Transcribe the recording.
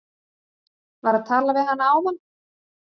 Var að tala við hana áðan.